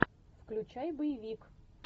включай боевик